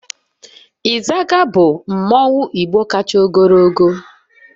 Izaga bu mmanwu igbo kacha ogologo